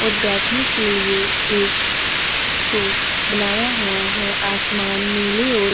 और बैठने के लिए एक स्टॉप बनाया हुआ है। आसमान नीले और --